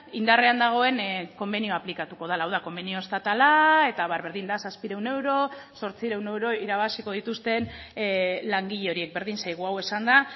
indarrean dagoen konbenioa aplikatuko dela hau da konbenio estatala eta abar berdin da zazpiehun euro zortziehun euro irabaziko dituzten langile horiek berdin zaigu hau esanda